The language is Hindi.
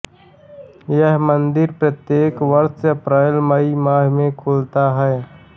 यह मंदिर प्रत्येक वर्ष अप्रैलमई माह में खुलता है